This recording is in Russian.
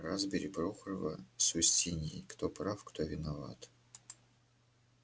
разбери прохорова с устиньей кто прав кто виноват